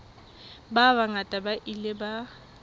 ba bangata ba ile ba